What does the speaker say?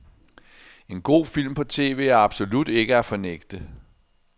En god film på tv er absolut ikke at fornægte.